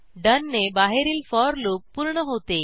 डोन ने बाहेरील for loop पूर्ण होते